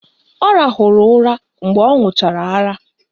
Ọ rahụrụ ụra mgbe ọ ṅụchara ara